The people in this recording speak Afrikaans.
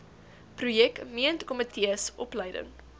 projek meentkomitees opleiding